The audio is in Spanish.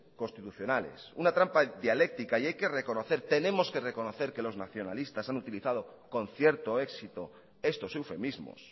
constitucionales una trampa dialéctica y hay que reconocer tenemos que reconocer que los nacionalistas han utilizado con cierto éxito estos eufemismos